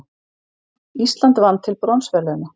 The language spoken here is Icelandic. Ísland vann til bronsverðlauna